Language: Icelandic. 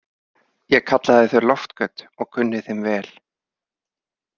Ég kallaði þau loftgöt og kunni þeim vel.